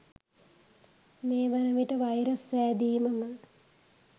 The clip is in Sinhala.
මේ වන විට වයිරස් සෑදීමම